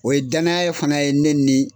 O ye danaya fana ye ne ni.